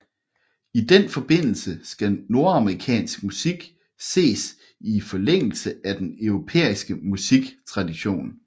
I den forbindelse skal nordamerikansk musik ses i forlængelse af den europæiske musiktradition